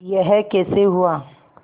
यह कैसे हुआ